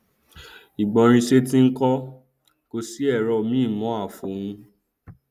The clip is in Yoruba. ìgbórinsétí nkọ kòsí ẹrọ míì mọn àfòun